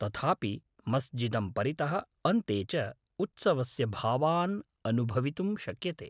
तथापि मस्जिदं परितः अन्ते च उत्सवस्य भावान् अनुभवितुं शक्यते।